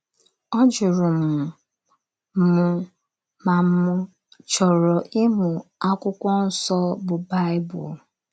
Ọ jụrụ m m ma m̀ chọrọ ịmụ akwụkwọ nso bụ Baịbụl.